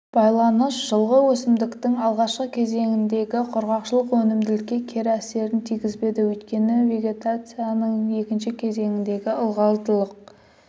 байланыс жылғы өсімдіктің алғашқы кезеңіндегі құрғақшылық өнімділікке кері әсерін тигізбеді өйткені вегетацияның екінші кезеңіндегі ылғалдылық